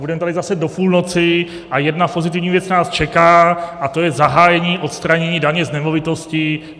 Budeme tady zase do půlnoci a jedna pozitivní věc nás čeká, a to je zahájení odstranění daně z nemovitosti.